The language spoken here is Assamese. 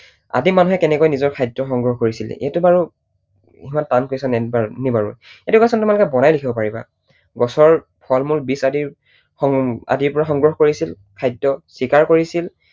আদিম মানুহে কেনেকৈ নিজৰ খাদ্য সংগ্ৰহ কৰিছিল? এইটো বাৰু অকণমান টান question য়েই । এইটো question তোমালোকে বনাই লিখিব পাৰিবা। গছৰ ফল মূল বীজ আদিৰ পৰা সংগ্ৰহ কৰিছিল খাদ্য, চিকাৰ কৰিছিল